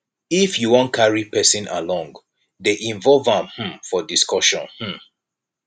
if you wan carry person along dey involve am um for discussion um